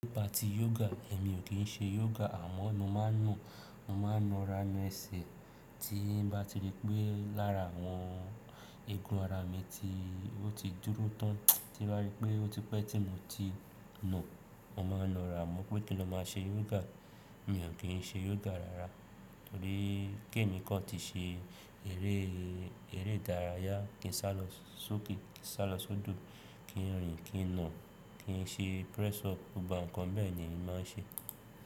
Nípa tí yoga, èmi ò kí ń ṣe yoga àmọ́ nu màá nu, mo máa ń lọ ra mẹ̀sẹ̀ tí n bá ti rí pé lára àwọn eegun ara mi tí ó ti dúró tán, tí mo rí pé ó ti pẹ́ tí mo ti na, mo máa na ara amọ́ pé kí n lo máa ṣe yoga. Èmi ò kí ń ṣe yoga rárá torí kí èmi kí ọ tí ṣe eré ìdárayá, kí n sálọ sókè, kí n sálọ sódò, kí n rìn, kí n nà, kí n ṣe press up, ó ba nǹkan bẹ́ẹ̀ ni èmi máa ń ṣe.